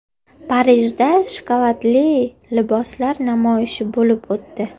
Parijda shokoladli liboslar namoyishi bo‘lib o‘tdi.